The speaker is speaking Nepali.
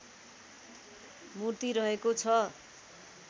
मूर्ति रहेको छ